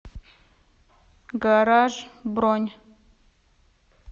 гаражъ бронь